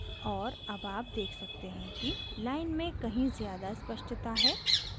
और अब आप देख सकते हैं कि line में कहीं ज़्यादा स्पष्टता है